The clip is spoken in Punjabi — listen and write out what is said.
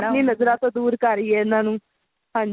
ਆਪਣੀ ਨਜ਼ਰਾਂ ਤੋਂ ਦੂਰ ਕਰੀਏ ਇਹਨਾ ਨੂੰ ਹਾਂਜੀ